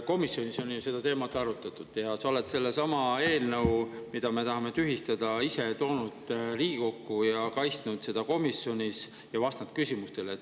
Komisjonis on ju seda teemat arutatud ja sa oled sellesama eelnõu, mida me tahame tühistada, ise Riigikokku toonud, oled kaitsnud seda komisjonis ja vastanud küsimustele.